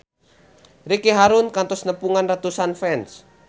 Ricky Harun kantos nepungan ratusan fans